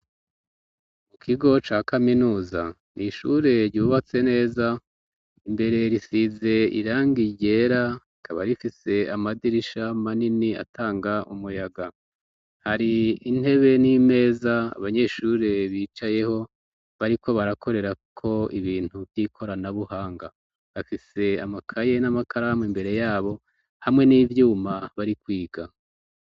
mu kigo ca kaminuza ni ishure ryubatse neza imbere risize irangi ryera ikaba rifise amadirisha manini atanga umuyaga hari intebe n'imeza abanyeshure bicayeho bari ko barakorera ko ibintu vy'ikoranabuhanga bafise amakaye n'amakaramu imbere yabo hamwe n'ivyuma bari kwiga